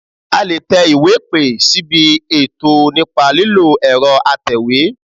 A lè tẹ iwé ìpè síbi ètò nípa lílo ẹ̀rọ atẹ̀wé